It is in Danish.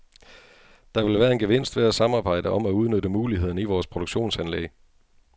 Der vil være en gevinst ved at samarbejde om at udnytte mulighederne i vores produktionsanlæg.